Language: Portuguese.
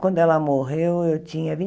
Quando ela morreu, eu tinha